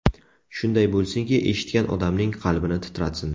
Shunday bo‘lsinki, eshitgan odamning qalbini titratsin.